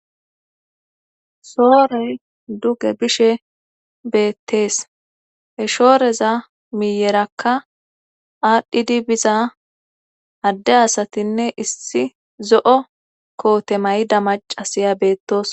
shoorey duge bishe beettees he shooreza miyerakka aadhdhidi biza adde asatinne issi zo7o koote mayda macasiya beettos